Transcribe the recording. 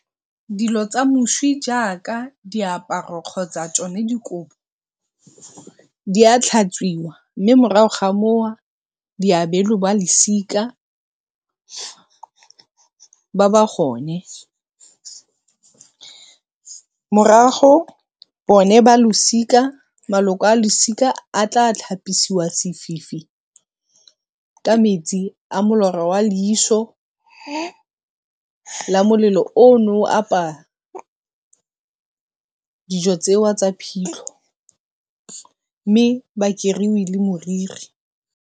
Dilo tsa moswi jaaka diaparo kgotsa dikobo di a tlhatswiwa mme morago ga di abelwe ba losika ba ba gone. Morago bone ba losika, maloko a losika a tla tlhapisiwa sefifi ka metsi a molora wa leiso la molelo o ne o apaya dijo tsewa tsa phitlho mme ba keriwi le moriri.